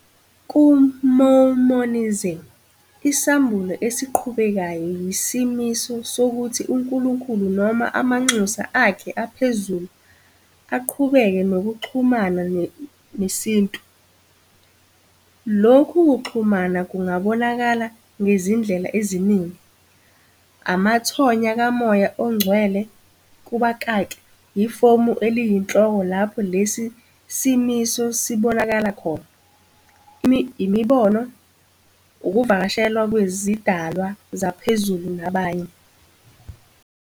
KuMormonism, isambulo esiqhubekayo yisimiso sokuthi uNkulunkulu noma amanxusa akhe aphezulu aqhubeke nokuxhumana nesintu. Lokhu kuxhumana kungabonakala ngezindlela eziningi - amathonya kaMoya oNgcwele, ifomu eliyinhloko lapho lesi simiso sibonakala khona, imibono, ukuvakashelwa kwezidalwa zaphezulu, nabanye.